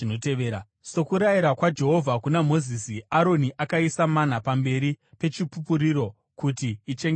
Sokurayira kwaJehovha kuna Mozisi, Aroni akaisa mana pamberi peChipupuriro, kuti ichengetwepo.